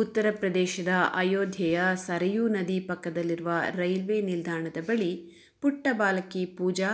ಉತ್ತರ ಪ್ರದೇಶದ ಆಯೋಧ್ಯೆಯ ಸರಯೂ ನದಿ ಪಕ್ಕದಲ್ಲಿರುವ ರೈಲ್ವೇ ನಿಲ್ದಾಣದ ಬಳಿ ಪುಟ್ಟ ಬಾಲಕಿ ಪೂಜಾ